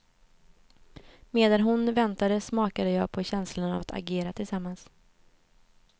Medan hon väntade smakade jag på känslan av att agera tillsammans.